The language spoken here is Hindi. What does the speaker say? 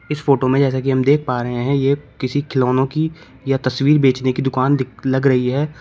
इस फोटो में जैसा कि हम देख पा रहे हैं ये किसी खिलौनो की या तस्वीर बेचने की दुकान दिक् लग रही है।